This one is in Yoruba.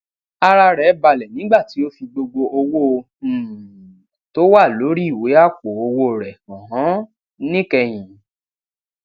ara rè balè nígbà tí ó fi gbogbo owó um tó wà lórí ìwé àpò owó rè hàn án níkẹyìn